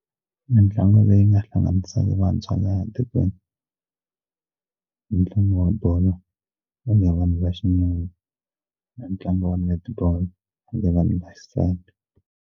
Mintlangu leyi nga hlanganisaka vantshwa laha tikweni mitlangu wa bolo ya vanhu va xinuna na ntlangu wa netball wa vanhu vaxisati.